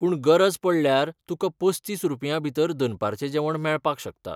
पूण गरज पडल्यार तुकां पस्तीस रुपयांभितर दनपारचें जेवण मेळपाक शकता.